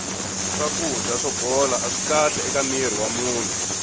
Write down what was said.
swakudya swo bola aswi kahle eka mirhi wa munhu